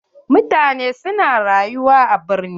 Mutane su na rayuwa a birni.